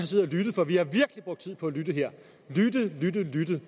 siddet og lyttet for vi har virkelig brugt tid på at lytte her lytte lytte lytte